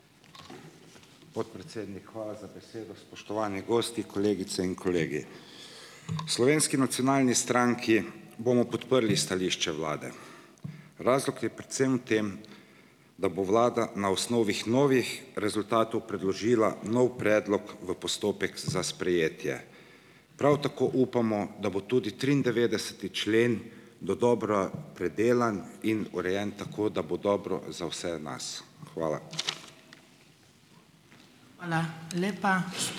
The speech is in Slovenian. Podpredsednik, hvala za besedo. Spoštovani gosti, kolegice in kolegi. V Slovenski nacionalni stranki bomo podprli stališče vlade. Razlog je predvsem v tem, da bo vlada na osnovi novih rezultatov predložila nov predlog v postopek za sprejetje. Prav tako upamo, da bo tudi triindevetdeseti člen dodobra predelan in urejen tako, da bo dobro za vse nas. Hvala.